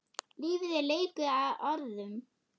Lífið er leikur að orðum.